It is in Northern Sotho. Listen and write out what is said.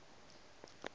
re humana ke re o